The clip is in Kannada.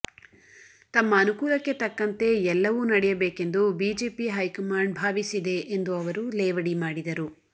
ತಮ್ಮ ಅನುಕೂಲಕ್ಕೆ ತಕ್ಕಂತೆ ಎಲ್ಲವೂ ನಡೆಯಬೇಕೆಂದು ಬಿಜೆಪಿ ಹೈಕಮಾಂಡ್ ಭಾವಿಸಿದೆ ಎಂದು ಅವರು ಲೇವಡಿ ಮಾಡಿದರು